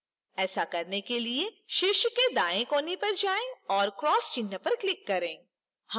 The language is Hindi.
ऐसा करने के लिए शीर्ष दाएं कोने पर जाएं और cross चिह्न पर click करें